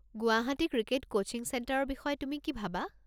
Guwahati cricket coaching চেণ্টাৰৰ বিষয়ে তুমি কি ভাবা?